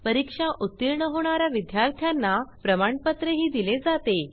परीक्षा उतीर्ण होणा या विद्यार्थ्यांना प्रमाणपत्रही दिले जाते